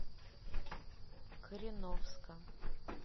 кореновска